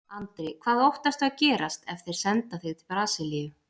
Andri: Hvað óttastu að gerist ef þeir senda þig til Brasilíu?